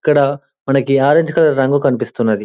ఇక్కడ మనకి orange colour రంగు కన్పిస్తున్నది.